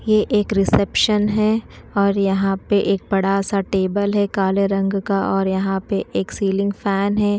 यह एक रिसेप्शन है और यहाँ पे एक बड़ा सा टेबल है काले रंग का और यहाँ पे एक सीलिंग फैन है।